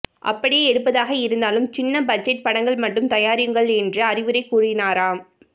அப்படியே எடுப்பதாக இருந்தாலும் சின்ன பட்ஜெட் படங்கள் மட்டும் தயாரியுங்கள் என்று அறிவுரை கூறினாராம்